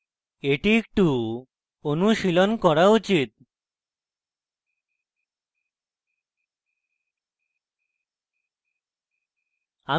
এটি একটু অনুশীলন করা উচিত